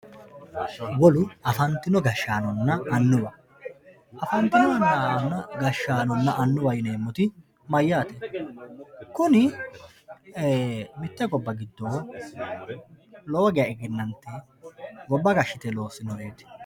afantino gashshaanonna annuwa afantino gashshaanonna annuwaho yineemmoti mayyate? kuni ee mitte gobba giddo lowo geya egenante gobba gashshite loossinoreeti.